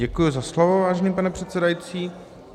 Děkuji za slovo, vážený pane předsedající.